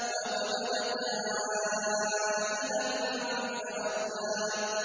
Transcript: وَوَجَدَكَ عَائِلًا فَأَغْنَىٰ